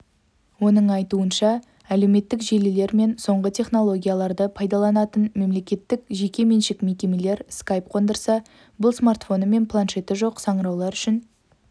оның айтуынша әлеуметтік желілер мен соңғы технологияларды пайдаланатын мемлекеттік жеке меншік мекемелер скайп қондырса бұл смартфоны мен планшеті жоқ сыңыраулар үшін